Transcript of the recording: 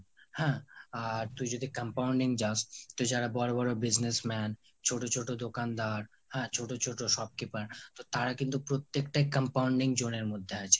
হ্যাঁ, আর তুই যদি compounding চাস তা যারা বড় বড় businessman, ছোট ছোট দোকানদার, হ্যা ছোট ছোট shopkeeper. তারা কিন্তু প্রত্যেকটা compounding zone এর মধ্যে আছে